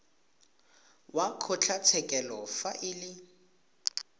wa kgotlatshekelo fa e le